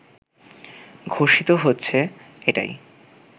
ঘোষিত হচ্ছে এটাই